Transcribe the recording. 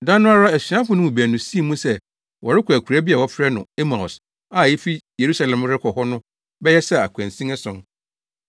Da no ara asuafo no mu baanu sii mu sɛ wɔrekɔ akuraa bi a wɔfrɛ no Emaus a efi Yerusalem rekɔ hɔ no bɛyɛ sɛ akwansin ason.